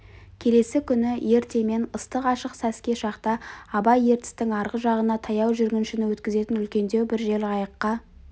келесі күні ертемен ыстық ашық сәске шақта абай ертістің арғы жағына таяу жүргіншіні өткізетін үлкендеу бір жел қайыққа